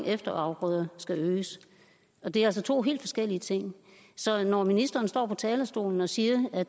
efterafgrøder skal øges og det er to helt forskellige ting så når ministeren står på talerstolen og siger at